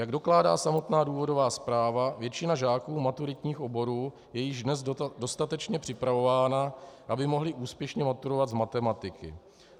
Jak dokládá samotná důvodová zpráva, většina žáků maturitních oborů je již dnes dostatečně připravována, aby mohli úspěšně maturovat z matematiky.